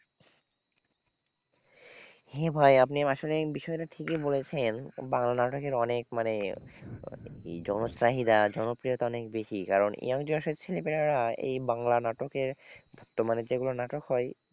হ্যাঁ ভাই আপনি আসলে বিষয়টা ঠিকই বলেছেন বাংলা নাটকের অনেক মানে জনচাহিদা জনপ্রিয়তা অনেক বেশি কারণ young generation এর ছেলেমেয়েরা এই বাংলা নাটকের বর্তমানে যেগুলো নাটক হয়,